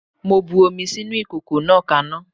Mo bu omi sínú ìkòkò náà kaná.